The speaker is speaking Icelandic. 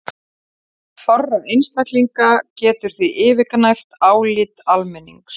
Rödd fárra einstaklinga getur því yfirgnæft álit almennings.